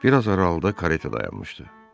Bir az aralıda kareta dayanmışdı.